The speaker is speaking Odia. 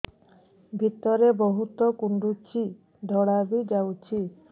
ଭିତରେ ବହୁତ କୁଣ୍ଡୁଚି ଧଳା ବି ଯାଉଛି